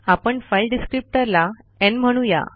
आपण file descriptor ला न् म्हणू या